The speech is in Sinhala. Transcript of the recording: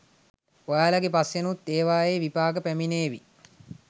ඔයාලගෙ පස්සෙනුත් ඒවායේ විපාක පැමිණේවි.